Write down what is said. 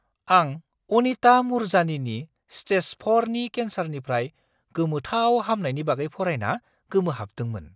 आं अनिता मुरजानीनि स्टेज 4 नि केन्सारनिफ्राय गोमोथाव हामनायनि बागै फरायना गोमोहाबदोंमोन!